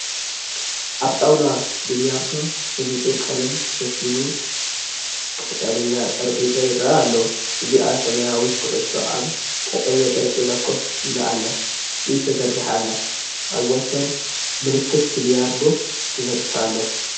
ኣብ ጣውላ ቢልያርዶ ብንጹር ቀለም ተሸፊኑ ቀጠልያ ጠረጴዛ ይራኣይ ኣሎ። እዚኣ ሰማያዊት ኩዕሶ ኣብ ቀጠልያ ጠረጴዛ ኮፍ ኢላ ኣላ፡ ኢድ ተዘርጊሓ ኣላ። ኣብ ወሰን ምልክት ቢልያርዶ ተዘርጊሑ ኣሎ።